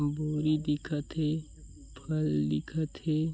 बोरी दिखत हे फल दिखत हे।